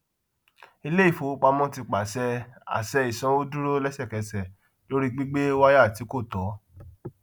iléìfowopamọ ti pàṣẹ àṣẹ ìsanwódúró lẹsẹkẹsẹ lórí gbígbé wáyà tí kò tọ